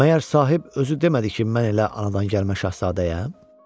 Məyər sahib özü demədi ki, mən elə anadan gəlmə şahzadəyəm?